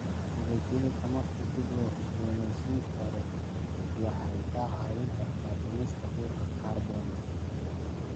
Tiknoolajiyadda tamarta dib loo cusbooneysiin karo waxay ka caawin kartaa dhimista qiiqa kaarboon-da.